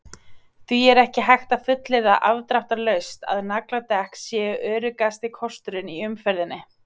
Því er ekki hægt að fullyrða afdráttarlaust að nagladekk séu öruggasti kosturinn í umferðinni.